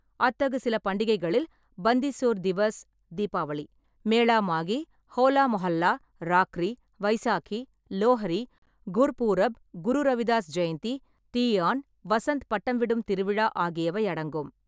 அத்தகு சில பண்டிகைகளில் பந்தி சோர் திவஸ் (தீபாவளி), மேளா மாகி, ஹோலா மொஹல்லா, ராக்ரி, வைசாகி, லோஹரி, குர்பூர்ப், குரு ரவிதாஸ் ஜெயந்தி, தீயான், வசந்த் பட்டம்விடும் திருவிழா ஆகியவை அடங்கும்.